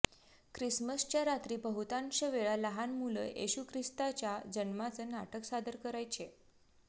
ख्रिसमसच्या रात्री बहुतांश वेळा लहान मुलं येशू ख्रिस्ताच्या जन्माचं नाटक सादर करायचे